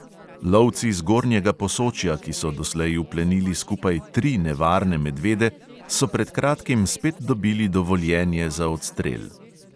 Lovci zgornjega posočja, ki so doslej uplenili skupaj tri nevarne medvede, so pred kratkim spet dobili dovoljenje za odstrel.